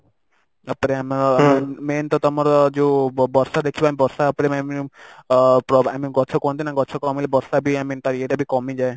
ତାପରେ ଆମର main ତ ତମର ଯଉ ବ ବର୍ଷା ଦେଖିବା ଆମେ ବର୍ଷା ଉପରେ ଅ i mean ଗଛ କୁହନ୍ତିନି ଗଛ କମିଲେ ବର୍ଷାବି i mean ତା ଇଏ ଟା ବି କମିଯାଏ